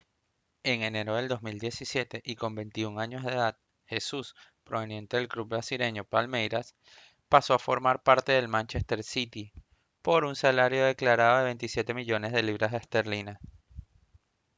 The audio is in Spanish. en enero de 2017 y con 21 años de edad jesús proveniente del club brasileño palmeiras pasó a formar parte del manchester city por un salario declarado de 27 millones de libras esterlinas